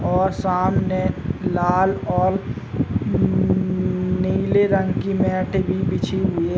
और सामने लाल और उम्म नीले रंग की मैट भी बिछी हुई है ।